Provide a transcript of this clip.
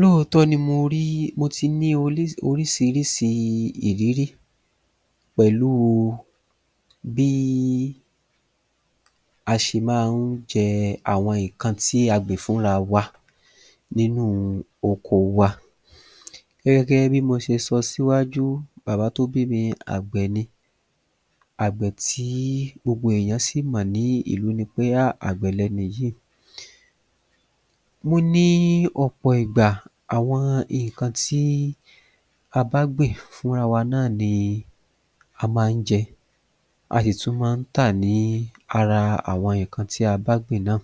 Lóòótọ́ ni mo rí ni mo ti rí oríṣiríṣi ìrírí pẹ̀lúu bí a ṣe máa ń jẹ àwọn nǹkan tí a gbìn fún rawa nínúu okoo wa Gẹ́gẹ́ bí mo ṣe sọ síwájú bàbá tó bí mi àgbẹ̀ ni àgbẹ̀ tí gbogbo ènìyàn sì mọ̀ nílùú ni pé ha àgbẹ̀ lẹni yìí Mo ní ọ̀pọ̀ ìgbà àwọn nǹkan tí a bá gbìn fún rawa náà ni a má ń jẹ́ a sì tún ma ń tà ní ara àwọn nǹkan tí a bá gbìn náà